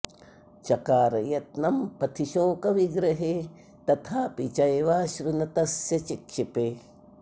चकार यत्नं पथि शोकविग्रहे तथापि चैवाश्रु न तस्य चिक्षिपे